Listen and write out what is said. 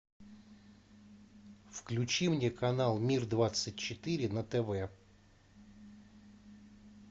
включи мне канал мир двадцать четыре на тв